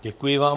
Děkuji vám.